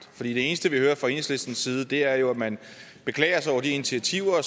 for det eneste vi hører fra enhedslistens side er jo at man beklager sig over de initiativer